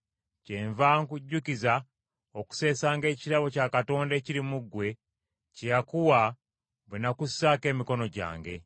Kyenva nkujjukiza okuseesanga ekirabo kya Katonda ekiri mu ggwe kye yakuwa, bwe nakussaako emikono gyange.